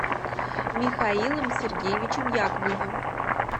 михаилом сергеевичем яковлевым